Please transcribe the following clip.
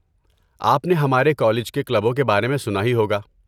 آپ نے ہمارے کالج کے کلبوں کے بارے میں سنا ہی ہوگا۔